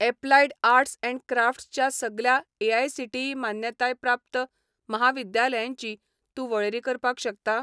Applied arts and crafts च्या सगल्या AICTE मान्यताय प्राप्त म्हाविद्यालयांची तूं वळेरी करपाक शकता?